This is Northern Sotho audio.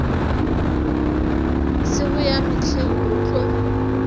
sego ya mehleng go tlo